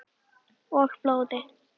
Og blóði.